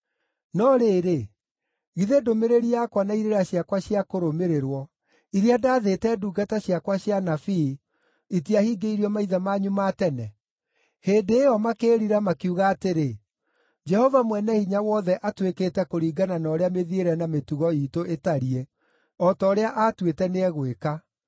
No rĩrĩ, githĩ ndũmĩrĩri yakwa na irĩra ciakwa cia kũrũmĩrĩrwo, iria ndaathĩte ndungata ciakwa cia anabii itiahingĩirio maithe manyu ma tene? “Hĩndĩ ĩyo makĩĩrira makiuga atĩrĩ, ‘Jehova Mwene-Hinya-Wothe atwĩkĩte kũringana na ũrĩa mĩthiĩre na mĩtugo iitũ ĩtariĩ, o ta ũrĩa aatuĩte nĩegwĩka.’ ”